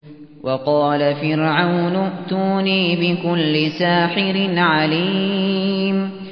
وَقَالَ فِرْعَوْنُ ائْتُونِي بِكُلِّ سَاحِرٍ عَلِيمٍ